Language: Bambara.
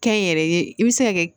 Kɛnyɛrɛye i bɛ se ka kɛ